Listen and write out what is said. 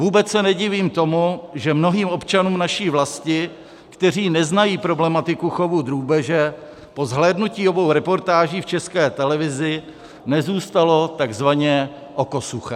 Vůbec se nedivím tomu, že mnohým občanům naší vlasti, kteří neznají problematiku chovu drůbeže, po zhlédnutí obou reportáží v České televizi nezůstalo takzvaně oko suché.